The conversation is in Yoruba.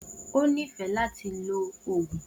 O nifẹ lati ló oogun.